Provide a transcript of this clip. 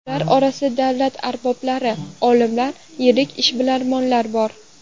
Ular orasida davlat arboblari, olimlar, yirik ishbilarmonlar bor.